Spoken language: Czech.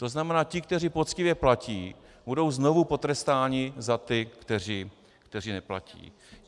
To znamená ti, kteří poctivě platí, budou znovu potrestáni za ty, kteří neplatí.